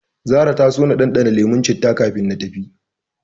Zahra ta so na ɗanɗana lemon citta kafin na tafi.